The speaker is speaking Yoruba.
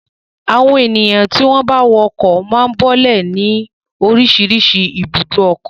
Àwọn ènìyàn tí wọ́n bá wọ ọkọ̀ máa ń bọ́lẹ̀ ní oríṣiríṣi ibùdó ọkọ̀.